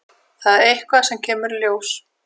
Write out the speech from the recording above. Það er eitthvað sem kemur í ljós.